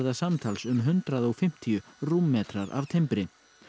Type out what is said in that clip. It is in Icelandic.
samtals um hundrað og fimmtíu rúmmetrar af timbri